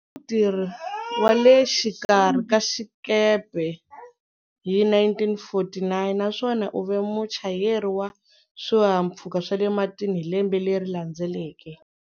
U ve mutirhi wa le xikarhi ka xikepe hi 1949 naswona u ve muchayeri wa swihahampfhuka swa le matini hi lembe leri landzeleke.